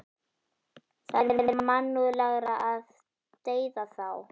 Það er mannúðlegra að deyða þá.